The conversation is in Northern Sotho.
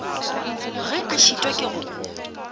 ge a šitwa ke go